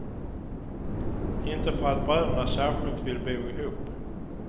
Inte för att bröderna särskilt vill bo ihop.